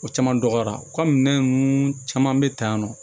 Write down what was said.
O caman dɔgɔyara kɔmi minɛn ninnu caman bɛ ta yan nɔ